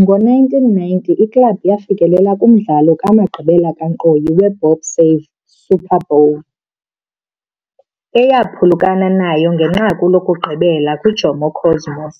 Ngo-1990 iklabhu yafikelela kumdlalo wamagqibela kankqoyi weBob Save Super Bowl awaphulukana nayo ngenqaku lokugqibela kwiJomo Cosmos,